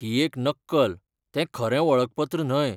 ही एक नक्कल, तें खरें वळखपत्र न्हय .